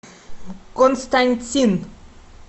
константин